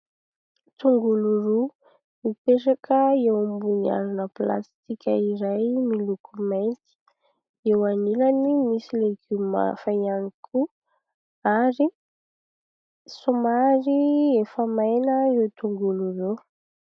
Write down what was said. Tongolo roa mipetraka eo ambony harona plastika iray miloko mainty. Eo anilany misy legioma hafa ihany koa ary somary efa maina ireo tongolo ireo.